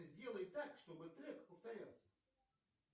сделай так чтобы трек повторялся